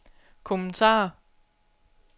kommentarer